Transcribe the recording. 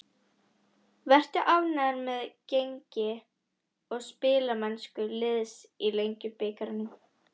Ertu ánægður með gengi og spilamennsku liðsins í Lengjubikarnum?